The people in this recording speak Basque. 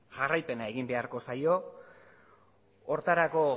jarraipena egin beharko zaio horretarako